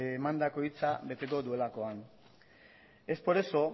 emandako hitza beteko duelakoan es por eso